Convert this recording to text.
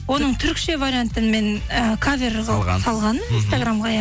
оның түрікше вариантын мен і кавер қылып салғанмын инстаграмға иә